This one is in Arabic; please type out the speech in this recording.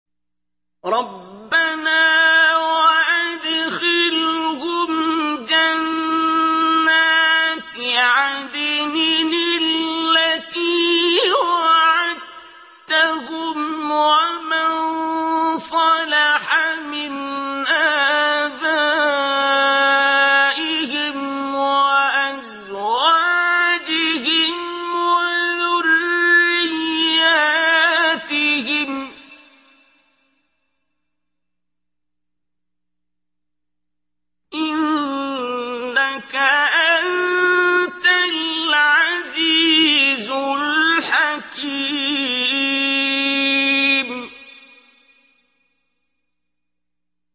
رَبَّنَا وَأَدْخِلْهُمْ جَنَّاتِ عَدْنٍ الَّتِي وَعَدتَّهُمْ وَمَن صَلَحَ مِنْ آبَائِهِمْ وَأَزْوَاجِهِمْ وَذُرِّيَّاتِهِمْ ۚ إِنَّكَ أَنتَ الْعَزِيزُ الْحَكِيمُ